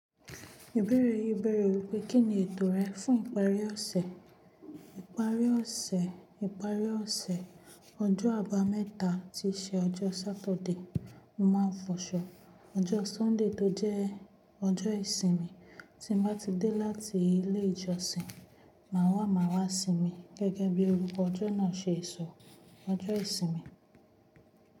Ìbéèrè yìí béèrè wípé, kín ni ètò rẹ fún ìparí ọ̀sẹ̀? Ìparí ọ̀sẹ̀, ìparí ọ̀sẹ̀. Ọjọ́ àbámẹ́ta tí o ṣe ọjọ́ Saturday, mo máa fọṣọ. Ọjọ́ Sunday tó jẹ́ ọjọ́ ìsinmi tí mo bá ti dé láti ilé ìjọsìn, màá wà, màá wàá sinmi gẹ́gẹ́ bí orukọ ọjọ́ náà ṣe sọ, ọjọ́ ìsinmi.